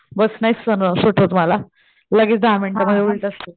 बस नाहीच सहन होऊ शकत मला लगेच दहा मिनिटा मध्ये उलट्या सुरु